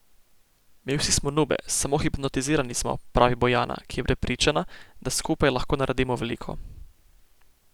Mi vsi smo Nube, samo hipnotizirani smo, pravi Bojana, ki je prepričana, da skupaj lahko naredimo veliko.